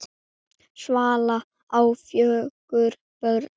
Svala á fjögur börn.